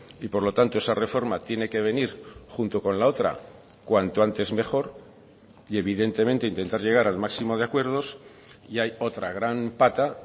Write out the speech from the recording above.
y por lo tanto esa reforma tiene que venir junto con la otra cuanto antes mejor y evidentemente intentar llegar al máximo de acuerdos y hay otra gran pata